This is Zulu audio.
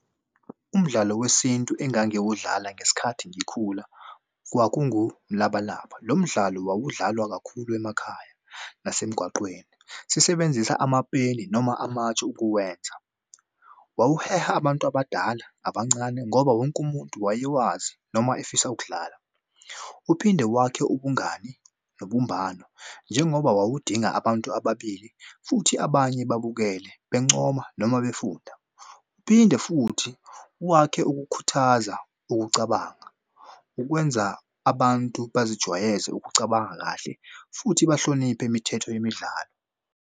Umdlalo wesintu engangiwudlala ngesikhathi ngikhula kwakungumlabalaba. Lo mdlalo wawudlalwa kakhulu emakhaya nasemgwaqeni. Sisebenzisa amapeni noma amatshe ukuwenza. Wawuheha abantu abadala abancane ngoba wonke umuntu wayewazi noma efisa ukudlala. Uphinde wakhe ubungani nobumbano njengoba wawubadinga abantu ababili futhi abanye babukele bencoma noma befunda. Uphinde futhi wakhe ukukhuthaza ukucabanga ukwenza abantu bazijwayeze ukucabanga kahle futhi bahloniphe imithetho yemidlalo.